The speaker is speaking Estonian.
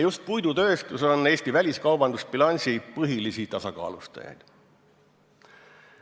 Just puidutööstus on Eesti väliskaubandusbilansi põhilisi tasakaalustajaid.